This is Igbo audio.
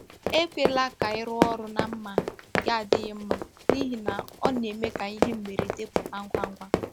Ekwela ka ị rụọ ọrụ na mma nke adịghị mma, n’ihi na ọ na-eme ka ihe mberede pụta ngwa ngwa.